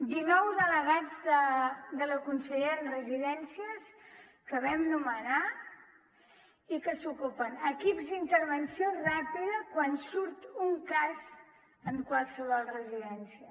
dinou delegats de la consellera en residències que vam nomenar i que se n’ocupen equips d’intervenció ràpida quan surt un cas en qualsevol residència